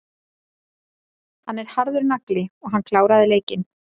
Hann er harður nagli og hann kláraði leikinn.